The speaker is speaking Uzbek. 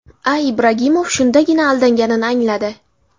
A.Ibragimov shundagina aldanganini angladi.